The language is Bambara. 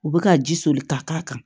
U bɛ ka ji soli ka k'a kan